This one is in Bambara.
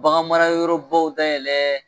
Baganmarayɔrɔbaw dayɛlɛ